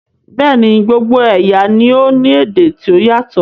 Bẹ́ẹ̀ni, gbogbo ẹ̀yà ni o ní èdè ti o yatọ